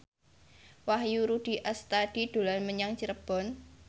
Wahyu Rudi Astadi dolan menyang Cirebon